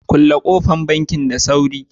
kulle kofan bankin da sauri.